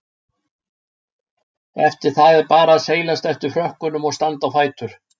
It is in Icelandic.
Eftir það er bara að seilast eftir frökkunum og standa á fætur.